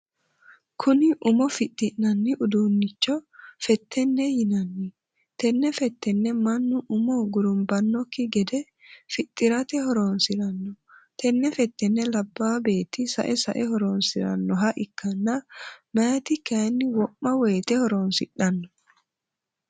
Kunni umo fixi'nanni duunicho fetenete yinanni. Tenne fetenne mannu umu gurunbanoki gede fixirate horoonsirano. Tenne fetenne laabaa beeti sae sae horoonsiranoha ikanna mayiti kayinni wo'ma woyite horoonsidhano.